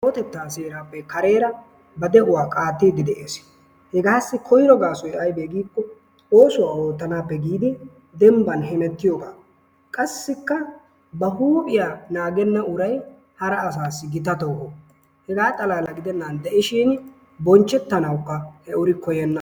Kawotetta seerappe kareera ba de'uwa qaattide de'ees. Hegassi koyro gaasoy aybe giiko oosuwa ootanappe giidi dembban hemetiyooga. Qassikka ba huuphiyaa naagena uray hara urassi gita tooho hegaa xalaala gidenan de'ishin bonchchetanawukka he uri koyyena.